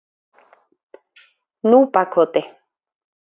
Núpakoti